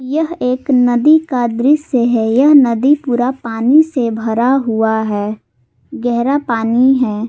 यह एक नदी का दृश्य है नदी पूरा पानी से भरा हुआ है गहरा पानी--